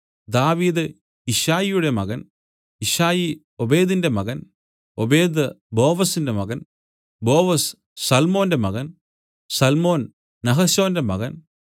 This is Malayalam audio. ദാവീദ് യിശ്ശായിയുടെ മകൻ യിശ്ശായി ഓബേദിന്റെ മകൻ ഓബേദ് ബോവസിന്റെ മകൻ ബോവസ് സല്മോന്റെ മകൻ സല്മോൻ നഹശോന്റെ മകൻ